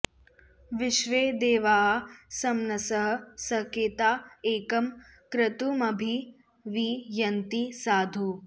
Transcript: विश्वे देवाः समनसः सकेता एकं क्रतुमभि वि यन्ति साधु